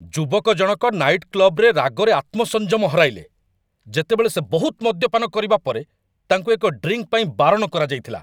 ଯୁବକ ଜଣକ ନାଇଟ୍ କ୍ଲବ୍‌‌ରେ ରାଗରେ ଆତ୍ମସଂଯମ ହରାଇଲେ ଯେତେବେଳେ ସେ ବହୁତ ମଦ୍ୟପାନ କରିବା ପରେ ତାଙ୍କୁ ଏକ ଡ୍ରିଙ୍କ୍‌ ପାଇଁ ବାରଣ କରାଯାଇଥିଲା